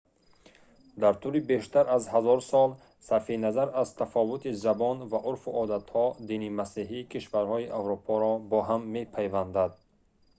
дар тӯли бештар аз ҳазор сол сарфи назар аз тафовути забон ва урфу одатҳо дини масеҳӣ кишварҳои аврупоро бо ҳам мепайвандад